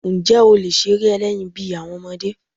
Ǹjẹ́ o lè ṣeré ẹlẹ́yin bí àwọn ọmọdé?